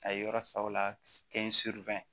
A ye yɔrɔ sa o la ke n